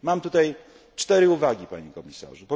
Mam cztery uwagi, panie komisarzu.